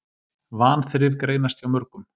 Vanþrif greinast hjá mörgum.